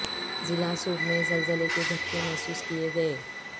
ضلع ژوب میں زلزلے کے جھٹکے محسوس کیے گئے